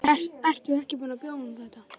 Ertu ekki búin að bjóða honum þetta?